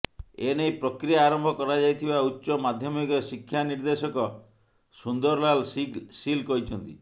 ଏନେଇ ପ୍ରକ୍ରିୟା ଆରମ୍ଭ କରାଯାଇଥିବା ଉଚ୍ଚ ମାଧ୍ୟମିକ ଶିକ୍ଷା ନିର୍ଦେଶକ ସୁନ୍ଦରଲାଲ ସିଲ୍ କହିଛନ୍ତି